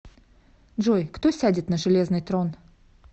джой кто сядет на железный трон